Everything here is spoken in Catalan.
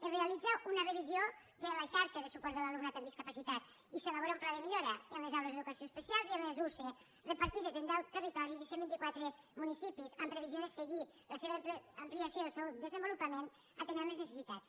es realitza una revisió de la xarxa de suport de l’alumnat amb discapacitat i s’elabora un pla de millora en les aules d’educació especial i en les usee repartides en deu territoris i cent i vint quatre municipis en previsió de seguir la seva ampliació i el seu desenvolupament atenent les necessitats